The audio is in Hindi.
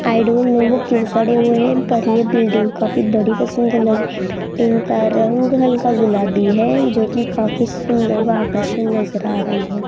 आई डोंट नो वो क्यों खड़े हुए है इन पर ये बिल्डिंग काफी बड़ी बिल्डिंग का रंग हल्का गुलाबी है जो की काफी सुंदर और आकर्षण नज़र आ रही है।